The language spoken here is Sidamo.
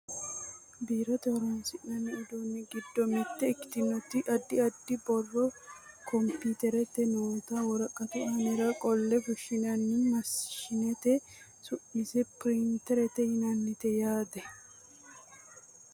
biirote horonsi'nanni uduunni giddo mitte ikkitinoti addi addi borro kompiiterete noota woraqatu aanira qolle fushshinanni maashineeti su'mase pirinterete yinannite yaate